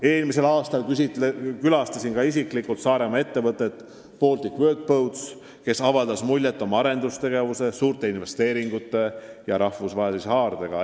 Eelmisel aastal külastasin ma isiklikult Saaremaa ettevõtet Baltic Workboats, kes avaldas muljet oma arendustegevuse, suurte investeeringute ja rahvusvahelise haardega.